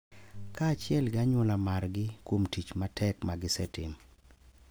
Kaachiel gi anyuola maargi kuom tich matek ma gisetimo.